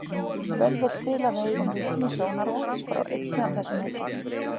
Svo vel vill til að við eigum vitni sjónarvotts frá einni af þessum heimsóknum.